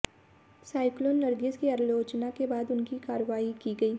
cyclone Nargis की आलोचना के बाद उनकी कार्रवाई की गई